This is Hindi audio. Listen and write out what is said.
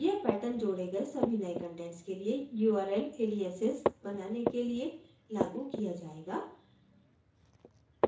यह pattern जोड़े गए सभी नये कंटेंट्स के लिए url aliases बनाने के लिए लागू किया जायेगा